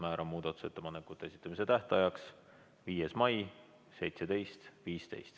Määran muudatusettepanekute esitamise tähtajaks 5. mai kell 17.15.